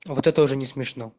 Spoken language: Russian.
а вот это уже не смешно